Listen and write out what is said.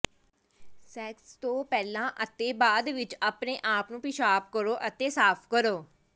sex ਤੋਂ ਪਹਿਲਾਂ ਅਤੇ ਬਾਅਦ ਵਿੱਚ ਆਪਣੇ ਆਪ ਨੂੰ ਪਿਸ਼ਾਬ ਕਰੋ ਅਤੇ ਸਾਫ ਕਰੋ